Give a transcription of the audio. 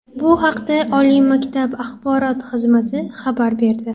Bu haqda oliy maktab axborot xizmati xabar berdi .